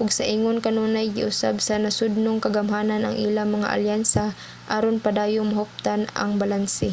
ug sa ingon kanunay giusab sa nasodnong kagamhanan ang ilang mga alyansa aron padayong mahuptan ang balanse